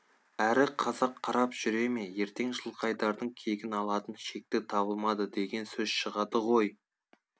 әрі қазақ қарап жүре ме ертең жылқайдардың кегін алатын шекті табылмады деген сөз шығады ғой